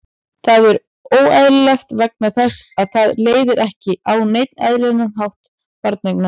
Það er óeðlilegt vegna þess að það leiðir ekki á neinn eðlilegan hátt til barneigna.